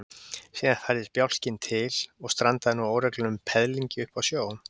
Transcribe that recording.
Síðan færðist bjálkinn til og strandaði nú á óreglulegum peðlingi uppi í sjó.